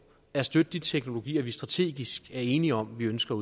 at støtte de teknologier vi strategisk er enige om vi ønsker